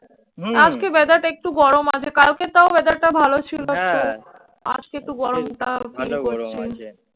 আজকে weather একটুও গরম আছে কালকে তাও weather টা ভালো ছিল তো আজকে একটু গরমটা আরকি পাচ্ছি।